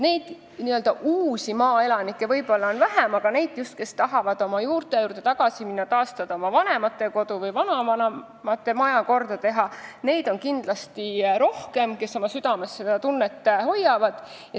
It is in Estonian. Nii-öelda uusi maaelanikke on võib-olla vähem, aga just neid, kes tahavad oma juurte juurde tagasi minna, oma vanemate kodu taastada või vanavanemate maja korda teha, on kindlasti rohkem – neid, kes seda tunnet oma südames hoiavad.